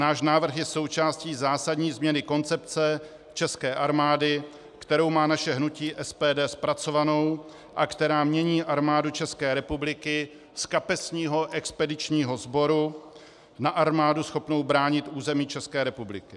Náš návrh je součástí zásadní změny koncepce České armády, kterou má naše hnutí SPD zpracovanou a která mění Armádu České republiky z kapesního expedičního sboru na armádu schopnou bránit území České republiky.